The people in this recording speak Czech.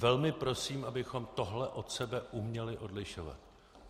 Velmi prosím, abychom tohle od sebe uměli odlišovat.